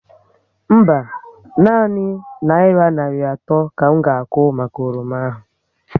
Mba, nanị naira narị atọ ka m ga akwụ maka oroma ahụ